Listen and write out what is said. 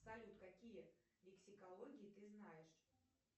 салют какие лексикологии ты знаешь